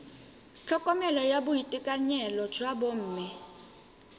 tlhokomelo ya boitekanelo jwa bomme